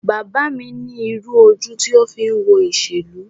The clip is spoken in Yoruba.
Bàbá mi ní irú ojú ti o fi ń wo ìṣèlú.